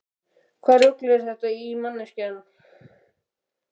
Hvaða rugl er þetta í þér manneskja!